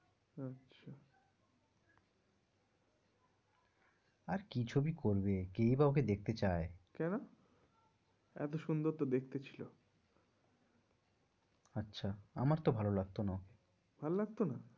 আর কি ছবি করবে, কেই বা ওকে দেখতে চায়, কেনো? এত সুন্দর তো ওকে দেখতে ছিল আচ্ছা আমার তো ভালো লাগতো না, ভল্লাগতোনা?